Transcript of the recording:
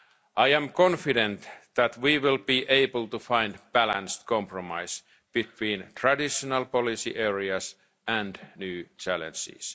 States. I am confident that we will be able to find a balanced compromise between traditional policy areas and new challenges.